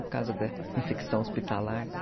Por causa da infecção hospitalar e tal.